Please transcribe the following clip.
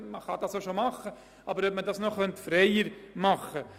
Aber man könnte dies noch einfacher zugänglich machen.